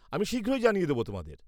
-আমি শীঘ্রই জানিয়ে দেব তোমাদের।